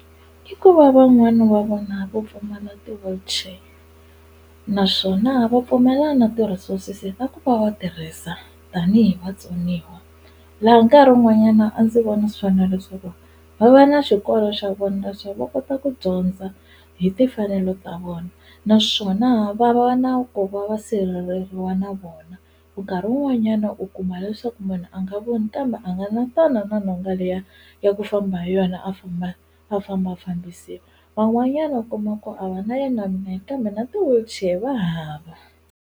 I ku va van'wani va vona vo pfumala ti-wheelchair naswona va pfumela na ti-resources ta ku va va tirhisa tanihi vatsoniwa laha nkarhi wun'wanyana a ndzi vona swona leswaku va va na swikolo swa vona leswaku va kota ku dyondza hi timfanelo ta vona naswona va va na ku va va sireleriwa na vona nkarhi wun'wanyana u kuma leswaku munhu a nga voni kambe a nga na tona na nhonga liya ya ku famba hi yona a famba a fambafambisiwa van'wanyana u kuma ku a va na yena minenge kambe na ti-wheelchair va hava.